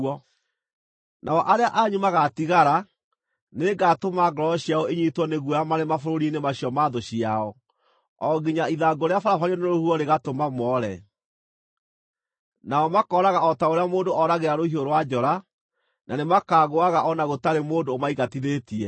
“ ‘Nao arĩa anyu magaatigara, nĩngatũma ngoro ciao inyiitwo nĩ guoya marĩ mabũrũri-inĩ macio ma thũ ciao, o nginya ithangũ rĩabarabario nĩ rũhuho rĩgatũma moore. Nao makooraga o ta ũrĩa mũndũ ooragĩra rũhiũ rwa njora, na nĩmakagũũaga o na gũtarĩ mũndũ ũmaingatithĩtie.